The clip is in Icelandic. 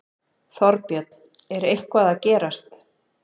Þorbjörn: Er eitthvað að gerast?